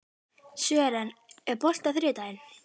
Sören, er bolti á þriðjudaginn?